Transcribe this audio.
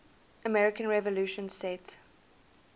american revolution set